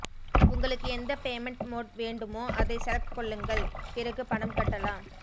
உங்களுக்கு எந்த payment mode வேண்டுமோ அதை செலக்ட் கொள்ளுங்கள் பிறகு பணம் கட்டலாம்